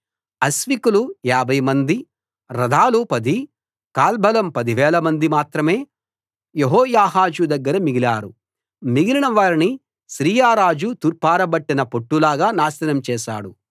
అశ్వికులు 50 మంది రథాలు పది కాల్బలం పదివేలమంది మాత్రమే యెహోయాహాజు దగ్గర మిగిలారు మిగిలిన వారిని సిరియా రాజు తూర్పారబట్టిన పొట్టు లాగా నాశనం చేశాడు